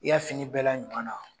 I y'a fini bɛɛ la ɲuman na!